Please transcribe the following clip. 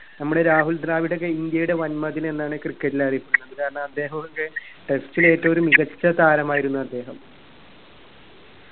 നമ്മുടെ രാഹുൽ ദ്രാവിഡോക്കെ ഇന്ത്യയുടെ വന്മതിൽ എന്നാണ് cricket ൽ അറിയപ്പെടുന്നത് കാരണത്തെ അദ്ദേഹോ ടെ test ൽ ഏറ്റവും ഒരു മികച്ച താരമായിരുന്നു അദ്ദേഹം